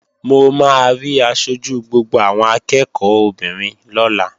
Mo máa rí aṣojú gbogbo àwọn akẹ́ẹ̀kọ́ obìnrin lọ́la